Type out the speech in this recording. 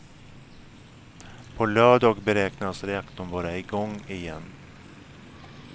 På lördag beräknas reaktorn vara i gång igen.